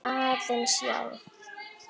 Aðeins, já.